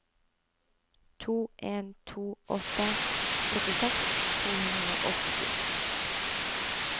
to en to åtte syttiseks to hundre og åttisju